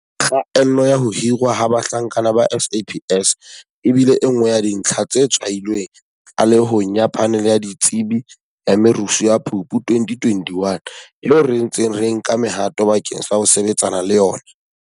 Kgaello ya ho hirwa ha bahlanka ba SAPS e bile e nngwe ya dintlha tse tshwailweng tlalehong ya Phanele ya Ditsebi ya Merusu ya Phupu 2021, eo re ntseng re nka mehato bakeng sa ho sebetsana le yona.